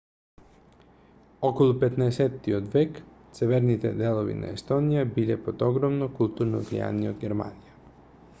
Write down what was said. околу 15-от век северните делови на естонија биле под огромно културно влијание од германија